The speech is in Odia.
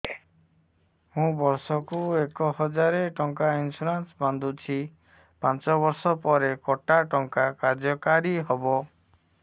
ମୁ ବର୍ଷ କୁ ଏକ ହଜାରେ ଟଙ୍କା ଇନ୍ସୁରେନ୍ସ ବାନ୍ଧୁଛି ପାଞ୍ଚ ବର୍ଷ ପରେ କଟା ଟଙ୍କା କାର୍ଯ୍ୟ କାରି ହେବ